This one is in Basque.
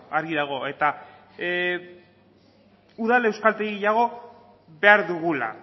eta udal euskaltegi gehiago behar dugula